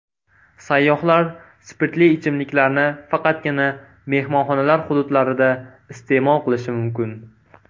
Sayyohlar spirtli ichimliklarni faqatgina mehmonxonalar hududlarida iste’mol qilishi mumkin.